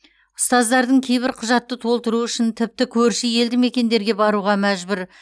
ұстаздардың кейбірі құжатты толтыру үшін тіпті көрші елдімекендерге баруға мәжбүр